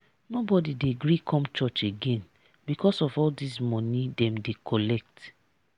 nobodi dey gree come church again because of all dese moni dem dey collect.